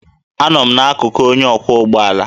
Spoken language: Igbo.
Anọ m n'akụkụ onye ọkwọ ụgbọ ala